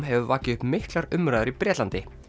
hefur vakið upp miklar umræður í Bretlandi